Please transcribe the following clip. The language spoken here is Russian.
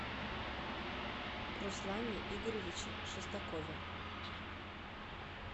руслане игоревиче шестакове